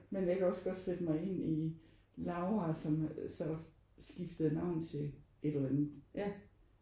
Men jeg kan også godt sætte mig ind i Laura som så skiftede navn til et eller andet